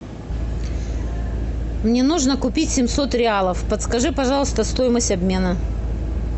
мне нужно купить семьсот реалов подскажи пожалуйста стоимость обмена